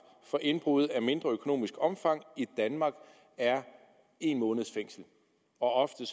for indbrud af mindre økonomisk omfang i danmark er en måneds fængsel og ofte